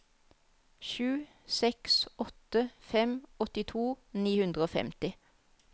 sju seks åtte fem åttito ni hundre og femti